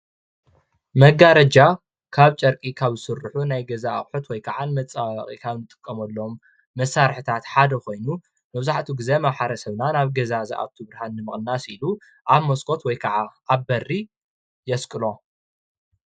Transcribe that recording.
መጋረጃ ካብ ጨርቂ ካብ ዝስርሑ ናይ ገዛ ኣቅሑት ወይ ከዓ መፀባበቂታ ካብ እንጥቀመሎም መሳርሕታት ሓደ ኮይኑ በምዛሕትኡ ጊዜ ማሕበረ ሰብና ናብ ገዛ ንዝኣቱ ብርሃን ንምቅናስ ኢሉ ኣብ መስኮት ወይካዓ ኣብ በሪ የስቅሎ፡፡